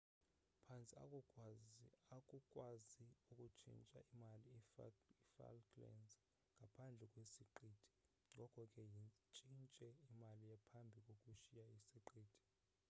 phantse akukwazeki ukutshintsha imali i-falklands ngaphandle kwessiqithi ngoko ke yitshintshe imali phambi kokushiya isiqithi